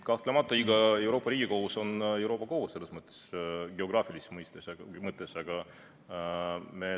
Kahtlemata iga Euroopa riigi kohus on Euroopa kohus geograafilises mõttes.